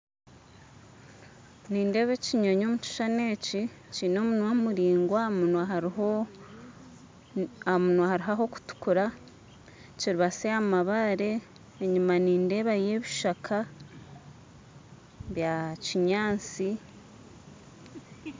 Nindeeba ekinyonyi omu kishushani eki kiine omunwa muraingwa ahamunwa hariho ahakutukura kiribatsi ahamabaare enyuma nindeebaho ebishaka bya kinyaatsi